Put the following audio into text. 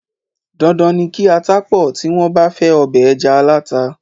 Dandan ni kí ata pọ̀ tí wọ́n bá fẹ ọbẹ̀ ẹja aláta.